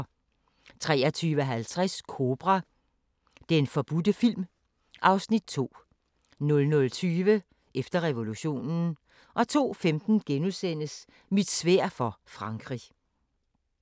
23:50: Kobra – Den forbudte film (Afs. 2) 00:20: Efter revolutionen 02:15: Mit sværd for Frankrig *